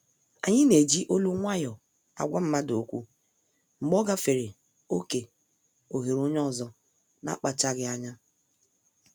Anyi na-eji olu nwayọ agwa mmadụ okwu mgbe ọ gafere oké oghere onye ọzọ n'akpachaghi anya.